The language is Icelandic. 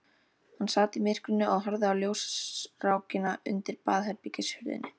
Hann sat í myrkrinu og horfði á ljósrákina undir baðherbergishurðinni.